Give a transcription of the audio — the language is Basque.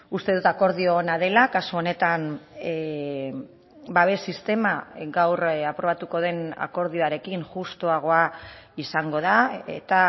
uste dut akordio ona dela kasu honetan babes sistema gaur aprobatuko den akordioarekin justuagoa izango da eta